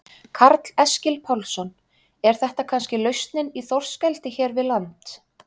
Karl Eskil Pálsson: Er þetta kannski lausnin í þorskeldi hér við land?